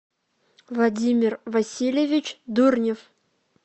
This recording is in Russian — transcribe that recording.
владимир васильевич дурнев